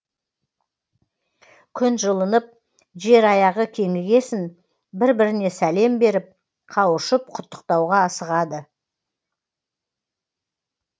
күн жылынып жер аяғы кеңігесін бір біріне сәлем беріп қауышып құттықтауға асығады